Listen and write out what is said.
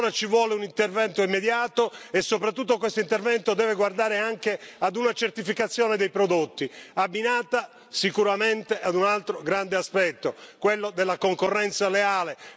Allora ci vuole un intervento immediato, e soprattutto questo intervento deve guardare anche ad una certificazione dei prodotti, abbinata sicuramente ad un altro grande aspetto, quello della concorrenza leale.